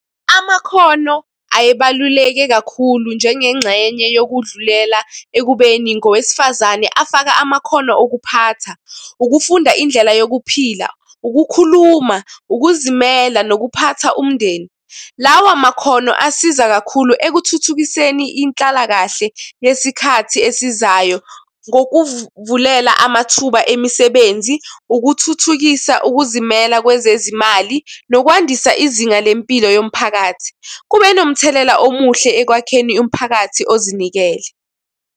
Amakhono ayebaluleke kakhulu njengengxenye yokudlulela ekubeni ngowesifazane. Afaka amakhono okuphatha, ukufunda indlela yokuphila, ukukhuluma, ukuzimela, nokuphatha umndeni. Lawa makhono asiza kakhulu ekuthuthukiseni inhlalakahle yesikhathi esizayo ngokuvulela amathuba emisebenzi, ukuthuthukisa ukuzimela kwezezimali, nokwandisa izinga lempilo yomphakathi. Kube nomthelela omuhle ekwakheni umphakathi ozinikele.